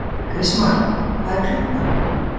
Kristmar, hvað er klukkan?